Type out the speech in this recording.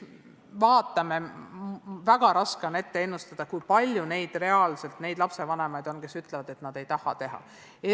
Väga raske on ennustada, kui palju on reaalselt neid lapsevanemaid, kes ütlevad, et nende lapsed eksameid ei tee.